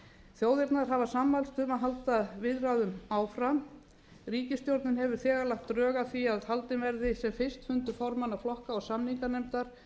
þjóðirnar hafa sammælst um að halda viðræðum áfram ríkisstjórnin hefur þegar lagt drög að því að haldinn verði sem fyrst fundur formanna flokka og samninganefndar